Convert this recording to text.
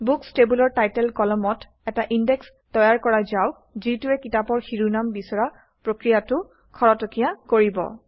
books টেবুলৰ title কলমত এটা ইনডেক্স তৈয়াৰ কৰা যাওক যিটোৱে কিতাপৰ শিৰোনাম বিচৰা প্ৰক্ৰিয়াটো খৰতকীয়া কৰিব